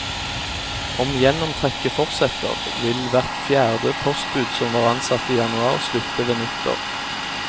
Om gjennomtrekket fortsetter vil hvert fjerde postbud som var ansatt i januar, slutte ved nyttår.